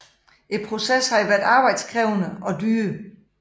Processen havde været arbejdskrævende og dyr